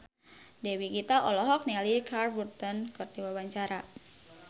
Dewi Gita olohok ningali Richard Burton keur diwawancara